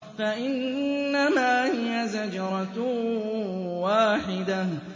فَإِنَّمَا هِيَ زَجْرَةٌ وَاحِدَةٌ